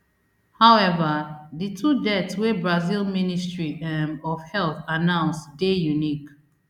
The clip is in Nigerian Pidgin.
however di two deaths wey brazil ministry um of health announce dey unique